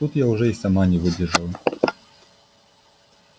тут я уже и сама не выдержала